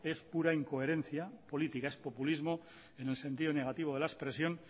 es pura incoherencia política es populismo en el sentido negativo de la expresión